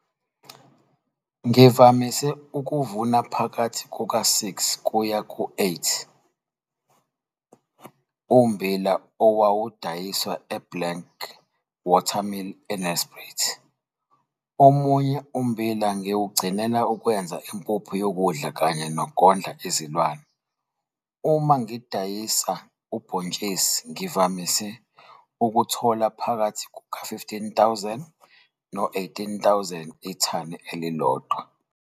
Ngivamise ukuvuna phakathi kuka-6 kuya ku-8 ommbila owawudayiswa eBlank Water Mill eNelspruit. Omunye ummbila ngiwugcinela ukwenza impuphu yokudla kanye nokondla izilwane. Uma ngidayisa ubhontshisi ngivamise ukuthola phakathi kuka-R15 000 no-R18 000 ithani elilodwa.